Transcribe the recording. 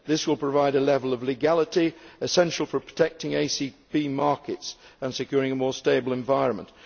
This will provide a level of legality essential for protecting ACP markets and securing a more stable environment.